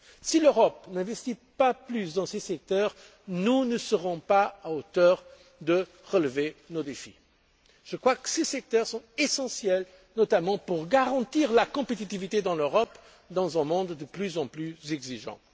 Si l'Europe n'investit pas plus dans ces secteurs, nous ne serons pas à la hauteur pour relever nos défis. Je crois que ces secteurs sont essentiels, notamment pour garantir la compétitivité en Europe dans un monde de plus en plus exigeant.